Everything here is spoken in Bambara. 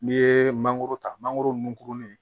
N'i ye mangoro ta mangoro nun kurunin